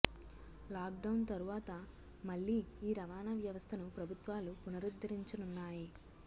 lock down తరువాత మళ్లీ ఈ రవాణా వ్యవస్థను ప్రభుత్వాలు పునరుద్దరించనున్నాయి